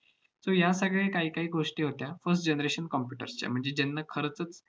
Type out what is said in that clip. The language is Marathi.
so या सगळ्या काहीकाही गोष्टी होत्या first generation computers च्या. म्हणजे ज्यांना खरचंच